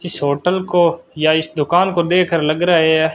इस होटल को या इस दुकान को देखकर लग रहा है यह--